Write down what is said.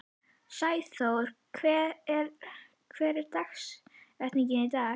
Sæþór, hver er dagsetningin í dag?